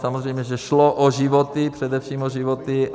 Samozřejmě že šlo o životy, především o životy.